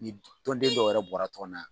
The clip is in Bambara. tɔnden dɔw yɛrɛ bɔra tɔn na.